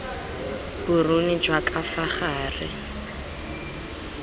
boruni jwa ka fa gare